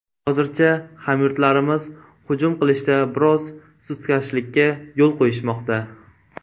Hozircha, hamyurtlarimiz hujum qilishda biroz sustkashlikka yo‘l qo‘yishmoqda.